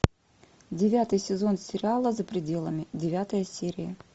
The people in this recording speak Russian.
девятый сезон сериала за пределами девятая серия